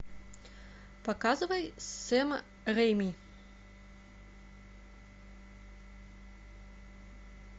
показывай сэма рейми